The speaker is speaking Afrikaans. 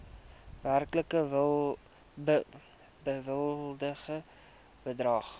werklik bewilligde bedrag